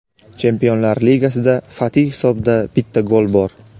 Chempionlar ligasida Fati hisobida bitta gol bor.